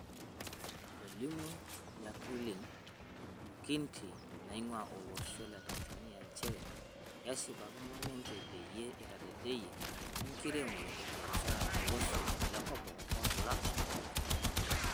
Etolimuo Jacqueline Mukindi, naingua olosho le Tanzania, njeere keshipakino ninje peyie eitadedayia enkiremore ebiashara to loshoo lekopikop olkila orok.